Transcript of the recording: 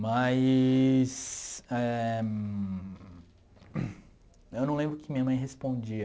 Mas éh... Eu não lembro que minha mãe respondia.